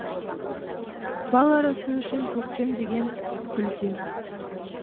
бал арасы үшін көктем деген гүлдер